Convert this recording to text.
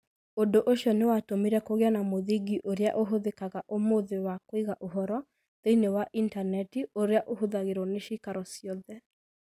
Ũndũ ũcio nĩ watũmire kũgĩe na mũthingi ũrĩa ũhũthĩkaga ũmũthĩ wa kũiga ũhoro thĩinĩ wa intaneti ũrĩa ũhũthagĩrũo nĩ cĩikaro ciothe.